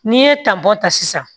N'i ye tabɔ ta sisan